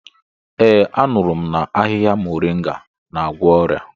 Ee, anuru m na ahịhịa muringa n'agwọ ọrịa.